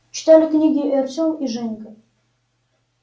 читали книги и артем и женька